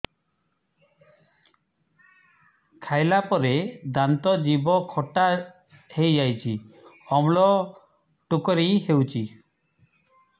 ଖାଇଲା ପରେ ଦାନ୍ତ ଜିଭ ଖଟା ହେଇଯାଉଛି ଅମ୍ଳ ଡ଼ୁକରି ହଉଛି